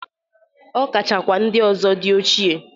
Ọ kachakwa ndị ọzọ dị ochie.